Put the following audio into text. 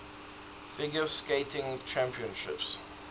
figure skating championships